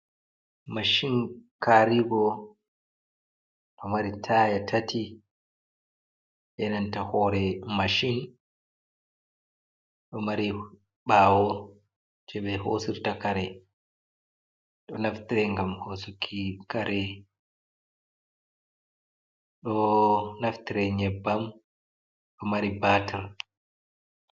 Mashin kari-go, ɗo mari taya tati e nanta hore mashin. Ɗo mari ɓaawo jei ɓe hosirta kare, ɗo naftre ngam hosuki kare, ɗo naftire nyebbam, do mari batir.